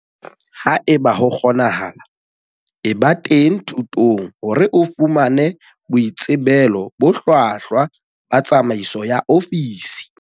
Haeba ho kgonahala, eba teng thutong hore o fumane boitsebelo bo hlwahlwa ba tsamaiso ya ofisi.